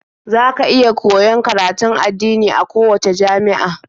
Za ka iya koyon karatun addini a kowacce jami'a.